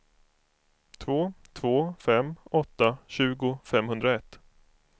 två två fem åtta tjugo femhundraett